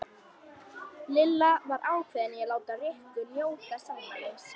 Lilla var ákveðin í að láta Rikku njóta sannmælis.